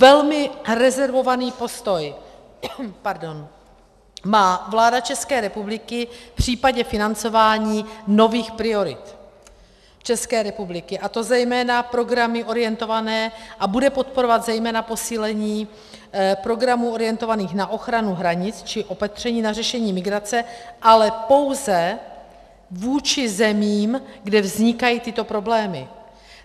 Velmi rezervovaný postoj má vláda České republiky v případě financování nových priorit České republiky, a to zejména programy orientované, a bude podporovat zejména posílení programů orientovaných na ochranu hranic či opatření na řešení migrace, ale pouze vůči zemím, kde vznikají tyto problémy.